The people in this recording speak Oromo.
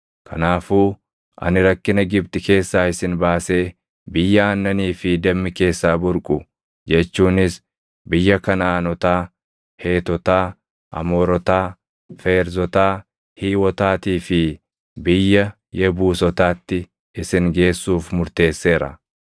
Kanaafuu ani rakkina Gibxi keessaa isin baasee biyya aannanii fi dammi keessaa burqu jechuunis biyya Kanaʼaanotaa, Heetotaa, Amoorotaa, Feerzotaa, Hiiwotaatii fi biyya Yebuusotaatti isin geessuuf murteesseera.” ’